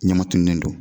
Ɲama tununnen don